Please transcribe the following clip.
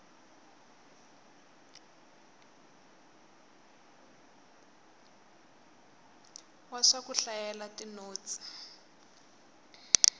wa swa ku hlayela tinotsi